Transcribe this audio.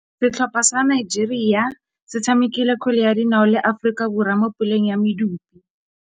Setlhopha sa Nigeria se tshamekile kgwele ya dinaô le Aforika Borwa mo puleng ya medupe.